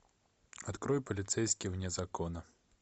открой полицейский вне закона